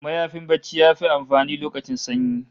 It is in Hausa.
Mayafin barci yafi amfani lokacin sanyi